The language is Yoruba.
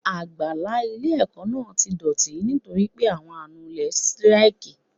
Àgbàlá ilé ẹ̀kọ́ náà ti dọ̀tí nítorí pé àwọn anulé síráìkì.